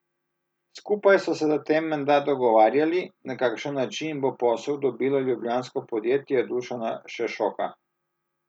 Skupaj so se zatem menda dogovarjali, na kakšen način bo posel dobilo ljubljansko podjetje Dušana Šešoka.